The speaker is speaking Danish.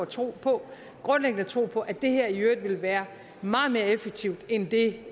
tro på grundlæggende tro på at det her i øvrigt vil være meget mere effektivt end det